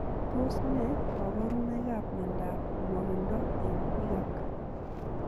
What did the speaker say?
Tos ne kabarunoik ap miondop nwogindoo eng piik ak.